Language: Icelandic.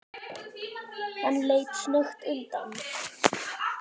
Hann leit snöggt undan.